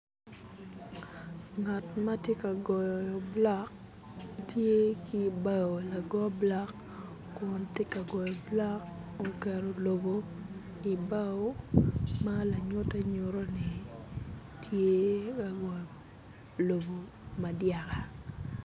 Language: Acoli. Ngat ma tye ka goyo bulok tye ki bao lago bulok kun tye ka goyo bulok oketo lobo i bao ma lanyutte nyutto ni tye ka wot ilobo ma dyaka.